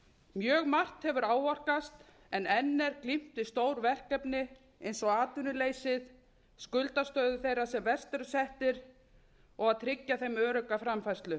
mjög margt hefur áorkast en enn er glímt við stór verkefni eins og atvinnuleysið skuldastöðu þeirra sem verst eru settir og að tryggja þeim örugga framfærslu